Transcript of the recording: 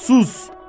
Ax, sus!